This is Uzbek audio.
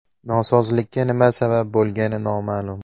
Nosozlikka nima sabab bo‘lgani noma’lum.